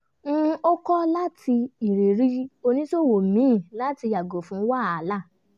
ó kọ́ láti irírí oníṣòwò míì láti yàgò fún wahala